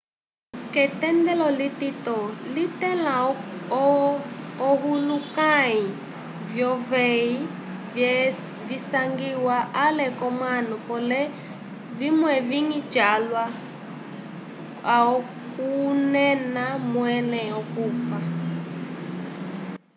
k'etendelo litito litẽla ohulukãyi vyuveyi vyasangiwa ale k'omanu pole vimwe vivĩ calwa okunena mwẽle okufa